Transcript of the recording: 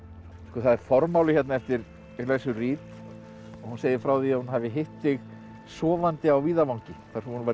það er formáli hérna eftir Alexu Reed hún segir frá því að hún hafi hitt þig sofandi á víðavangi þar sem hún var